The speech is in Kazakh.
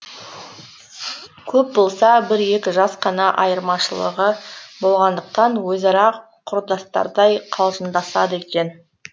көп болса бір екі жас қана айырмашылығы болғандықтан өзара құрдастардай қалжыңдасады екен